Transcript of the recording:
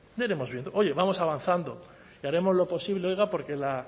oye vamos avanzando y haremos lo posible oiga